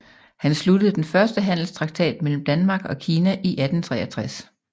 Han sluttede den første handelstraktat mellem Danmark og Kina i 1863